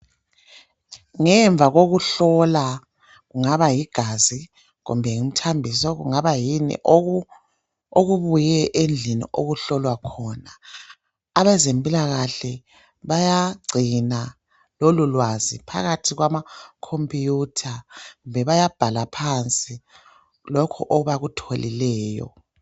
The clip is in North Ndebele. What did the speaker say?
Ngemva kokuhlola kungabayigazi kumbe ngumthambiso kungaba yini okubuye endlini okuhlolwa khona abazempilakahle bayagcina lolu lwazi phakathi kwama khompuwutha kumbe bayambala phansi lokhu abakutholileyo